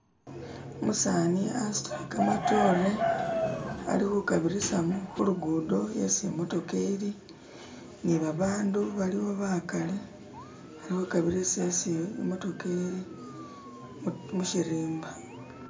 umusaani asutile kamatore ali hukabirisa hulugudo isi imotoka ili nibabandu baliwo baakali bali hukabirisa isi imotoka ili mushirimba